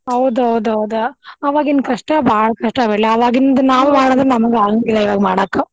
ಹೌದ್ ಹೌದ್ ಹೌದ ಅವಾಗಿನ ಕಷ್ಟಾ ಬಾಳ ಕಷ್ಟಾ ಬಿಡ್ಲೇ ಅವಾಗಿಂದ ನಮಗ ಆಗಾಂಗಿಲ್ಲಾ ಇವಾಗ ಮಾಡಾಕ.